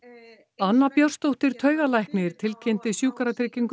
anna Björnsdóttir taugalæknir tilkynnti Sjúkratryggingum